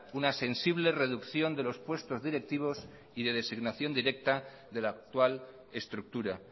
una sensible reducción de los puestos directivos y de designación directa de la actual estructura